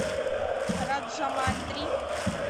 раджамандри